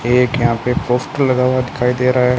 एक यहां पे पोस्टर लगा हुआ दिखाई दे रहा है।